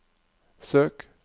søk